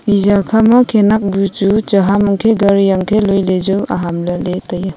eja kha ma khenak bu chu chaham hankhe gari hankhe loi ley ju aham lah ley tai a.